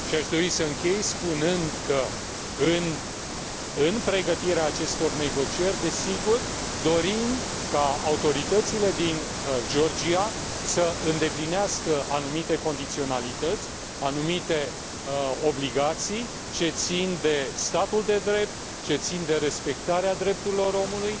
Aș dori să închei spunând că în pregătirea acestor negocieri, dorim, desigur, ca autoritățile din Georgia să îndeplinească anumite condiționalități, anumite obligații ce țin de statul de drept, ce țin de respectarea drepturilor omului,